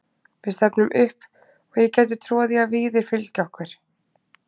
Við stefnum upp og ég gæti trúað því að Víðir fylgi okkur.